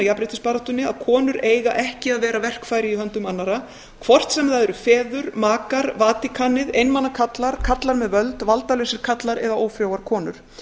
jafnréttisbaráttunni að konur eiga ekki að vera verkfæri í höndum annarra hvort sem það eru feður makar vatíkanið einmana karlar karlar með völd valdalausir karlar eða ófrjóar konur